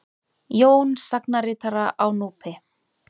Jón sagnaritara á Núpi.